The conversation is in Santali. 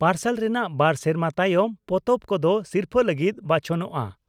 ᱯᱟᱨᱥᱟᱞ ᱨᱮᱱᱟᱜ ᱵᱟᱨ ᱥᱮᱨᱢᱟ ᱛᱟᱭᱚᱢ ᱯᱚᱛᱚᱵ ᱠᱚᱫᱚ ᱥᱤᱨᱯᱷᱟᱹ ᱞᱟᱹᱜᱤᱫ ᱵᱟᱪᱷᱚᱱᱚᱜᱼᱟ ᱾